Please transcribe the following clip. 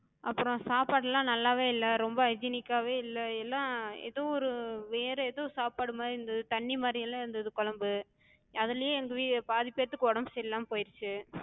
அப்பறோ சாப்பாடுலா நல்லாவே இல்ல, ரொம்ப hygienic காவே இல்ல எல்லா ஏதோ ஒரு வேற ஏதோ சாப்பாடு மாரி இருந்தது, தண்ணி மாரியெல்லா இருந்தது கொழம்பு. அதுலயே எங்க பாதி பேத்துக்கு உடம்பு சரியில்லாம போயிருச்சு.